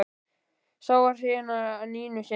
Sá var hrifinn af Nínu sinni.